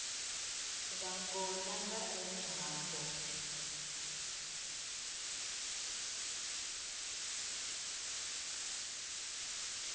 vhangona nga ene ha mbo